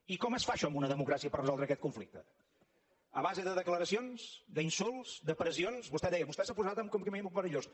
i com es fa això en una democràcia per resoldre aquest conflicte a base de declaracions d’insults de pressions vostè deia vostè s’ha posat en un camí molt perillós